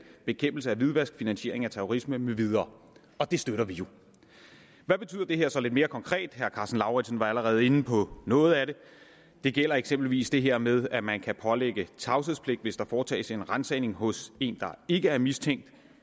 bekæmpelse af hvidvask og finansiering af terrorisme med videre og det støtter vi jo hvad betyder det her så lidt mere konkret herre karsten lauritzen var allerede inde på noget af det det gælder eksempelvis det her med at man kan pålægge tavshedspligt hvis der foretages en ransagning hos en der ikke er mistænkt